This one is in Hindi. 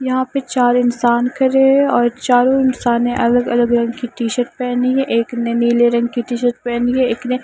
यहां पे चार इंसान खड़े हैं और चारों इंसान ने अलग-अलग रंग की टी-शर्ट पहनी है एक ने नीले रंग की टी-शर्ट पहनी है एक ने --